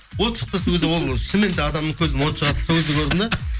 от шықты сол кезде ол шыныменде адамның көзінен от шығатынын сол кезде көрдім де